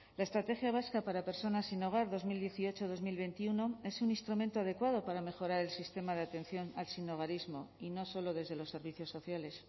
la estrategia vasca para personas sin hogar dos mil dieciocho dos mil veintiuno es un instrumento adecuado para mejorar el sistema de atención al sinhogarismo y no solo desde los servicios sociales